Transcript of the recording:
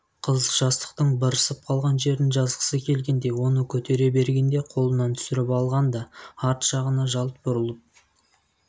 қыз жастықтың бырысып қалған жерін жазғысы келгендей оны көтере бергенде қолынан түсіріп алған да арт жағына жалт бұрылып